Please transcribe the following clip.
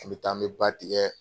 N bɛ taa an bɛ ba tigɛ.